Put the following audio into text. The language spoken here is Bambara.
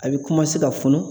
A bɛ ka funu.